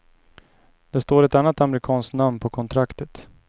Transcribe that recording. Det står ett annat amerikanskt namn på kontraktet.